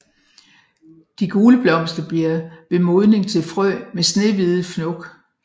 De gule blomster bliver ved modning til frø med snehvide fnok